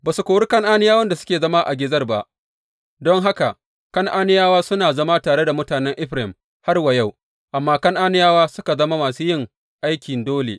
Ba su kori Kan’aniyawan da suke zama a Gezer ba, don haka Kan’aniyawa suna zama tare da mutanen Efraim har wa yau; amma Kan’aniyawa suka zama masu yin aikin dole.